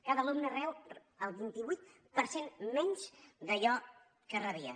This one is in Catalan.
cada alumne rep el vint vuit per cent menys d’allò que rebia